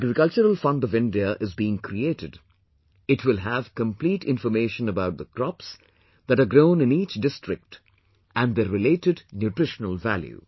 An Agricultural Fund of India is being created, it will have complete information about the crops, that are grown in each district and their related nutritional value